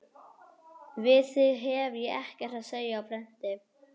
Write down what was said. Við þig hef ég ekkert að segja á prenti.